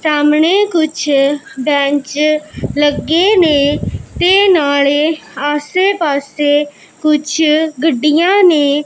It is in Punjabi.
ਸਾਹਮਣੇ ਕੁੱਛ ਬੈਂਚ ਲੱਗੇ ਨੇਂ ਤੇ ਨਾਲੇ ਆਸੇ ਪਾੱਸੇ ਕੁੱਛ ਗੱਡੀਆਂ ਨੇਂ।